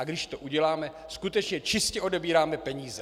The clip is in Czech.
A když to uděláme, skutečně čistě odebíráme peníze.